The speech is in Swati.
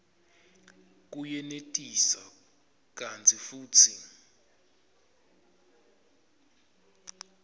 kuyenetisa kantsi futsi